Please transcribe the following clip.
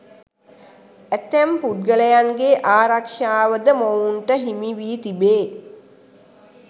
ඇතැම් පුද්ගලයන්ගේ ආරක්ෂාවද මොවුන්ට හිමිවී තිබේ.